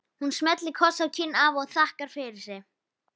Hún smellir kossi á kinn afa og þakkar fyrir sig.